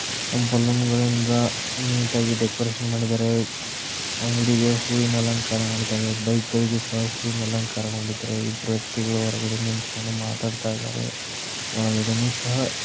ಬಲೂನಗಳಿಂದ neat ಆಗಿ decoration ಮಾಡಿದಾರೆ. ಅಂಗಡಿಗೆ ಹೂವಿನ ಅಲಂಕಾರ ಮಾಡಿದಾರೆ. ಬೈಕ್ ಗಳಿಗೂ ಸಹ ಹೂವಿನ ಅಲಂಕಾರ ಮಾಡಿದಾರೆ. ಇಬ್ರು ವ್ಯಕ್ತಿಗಳು ಹೊರಗಡೆ ನಿಂತ್ಕೊಂಡು ಮಾತಾಡ್ತಾ ಇದಾರೆ. ಒಳಗಡೆನು ಸಹ--